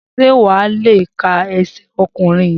Sé wà á le ka ẹsẹ̀ ọ̀kùnrùn yẹn.